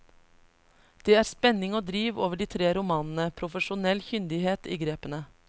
Det er spenning og driv over de tre romanene, profesjonell kyndighet i grepene.